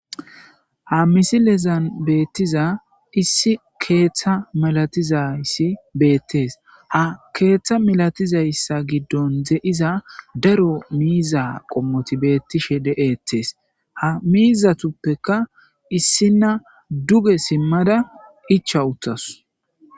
Ha misilezan betizaysi issi ketha masatizaysi betes ha ketha malatizaysa gidon daro miiza qomoti de'etes ha miizatupeka issinay duge simada icha utadus